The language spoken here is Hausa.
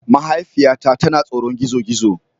Mahaifiyata tana tsoron gizo-gizo